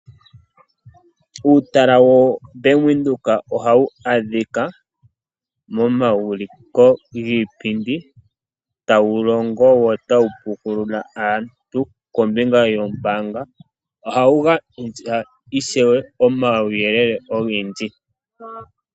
Uutala woBank Windhoek oha wu adhika mo omauliko giipindi tawu longo wo tawu pukulula aantu kombinga yombaanga , oha wu gandja ishewe omawuyelele ogendji.